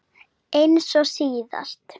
Eins og síðast?